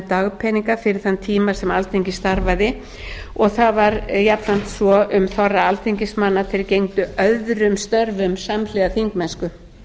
dagpeninga fyrir þann tíma sem alþingi starfaði og það var jafnframt svo um þorra alþingismanna að þeir gegndu öðrum störfum samhliða þingmennsku